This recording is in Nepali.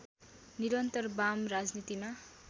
निरन्तर वाम राजनीतिमा